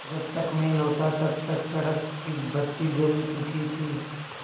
जब तक मैं लौटा तब तक सड़क की बत्ती जल चुकी थी